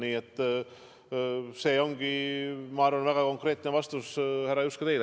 Nii et see ongi, ma arvan, väga konkreetne vastus, härra Juske, teile.